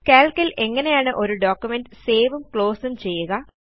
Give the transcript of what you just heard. Calc ൽ എങ്ങനെയാണ് ഒരു ഡോക്യുമെന്റ് സേവും ക്ലോസും ചെയ്യുക